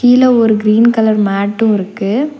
கீழ ஒரு green colour mat இருக்கு.